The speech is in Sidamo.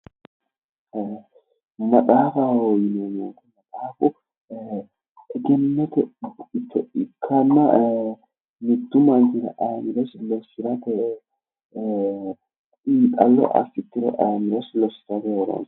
Maxaafaho yineemo woyite maxaafu egennote buicho ikkana mittu manichira ayimirosi lossirate xiinixallo asse tiro aanosi